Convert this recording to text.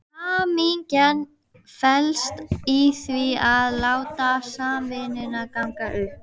Hamingjan felst í því að láta samvinnuna ganga upp.